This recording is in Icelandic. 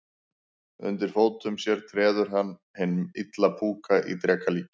Undir fótum sér treður hann hinn illa púka í dreka líki.